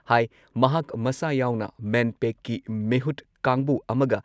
ꯍꯥꯏ ꯃꯍꯥꯛ ꯃꯁꯥ ꯌꯥꯎꯅ ꯃꯦꯟꯄꯦꯛꯀꯤ ꯃꯤꯍꯨꯠ ꯀꯥꯡꯕꯨ ꯑꯃꯒ